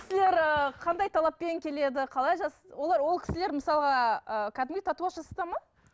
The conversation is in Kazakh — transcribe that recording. кісілер ы қандай талаппен келеді қалай олар ол кісілер мысалға кәдімгідей татуаж жасатады ма